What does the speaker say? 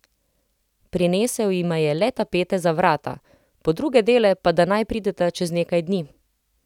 Prinesel jima je le tapete za vrata, po druge dele pa da naj prideta čez nekaj dni.